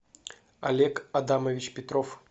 олег адамович петров